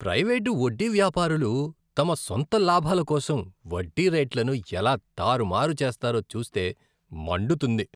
Private వడ్డీవ్యాపారులు తమ సొంత లాభాల కోసం వడ్డీ రేట్లను ఎలా తారుమారు చేస్తారో చూస్తే మండుతుంది.